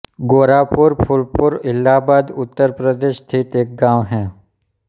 गोरापुर फूलपुर इलाहाबाद उत्तर प्रदेश स्थित एक गाँव है